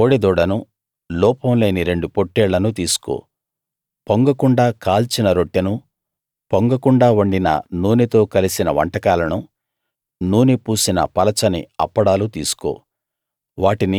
ఒక కోడెదూడను లోపం లేని రెండు పొట్టేళ్లను తీసుకో పొంగకుండా కాల్చిన రొట్టెను పొంగకుండా వండిన నూనెతో కలిసిన వంటకాలను నూనె పూసిన పలచని అప్పడాలు తీసుకో